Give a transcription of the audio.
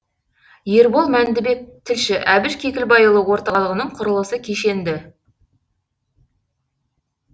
ербол мәндібек тілші әбіш кекілбайұлы орталығының құрылысы кешенді